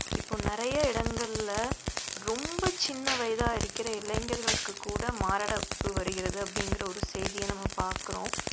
இப்போ நிறைய இடங்கள்ல ரொம்ப சின்ன வயதா இருக்கிற இளைஞர்களுக்கு கூட மாரடைப்பு வருகிறது அப்படிங்கிற ஒரு செய்தியை நம்ம பார்க்கிறோம்